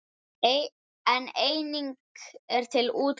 En einnig er til útgáfan